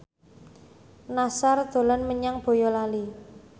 Nassar dolan menyang Boyolali